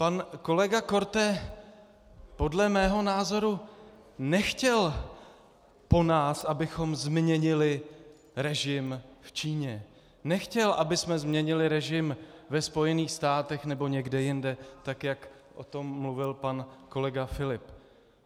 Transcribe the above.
Pan kolega Korte podle mého názoru nechtěl po nás, abychom změnili režim v Číně, nechtěl, abychom změnili režim ve Spojených státech nebo někde jinde, tak jak o tom mluvil pan kolega Filip.